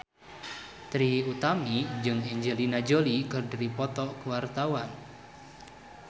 Trie Utami jeung Angelina Jolie keur dipoto ku wartawan